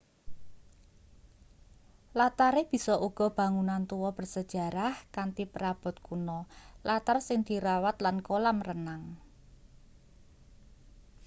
latare bisa uga bangunan tuwa bersejarah kanthi perabot kuno latar sing dirawat lan kolam renang